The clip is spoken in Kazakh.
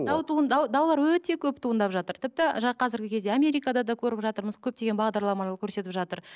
дау туындау даулар өте көп туындап жатыр тіпті қазіргі кезде америкада да көріп жатырмыз көптеген бағдарламалар көрсетіп жатыр